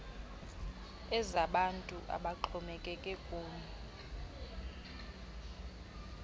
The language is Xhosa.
ezabantu abaxhomekeke kum